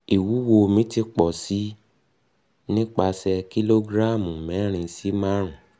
iwuwo mi ti pọ si pọ si nipasẹ kilogramu mẹrin si marun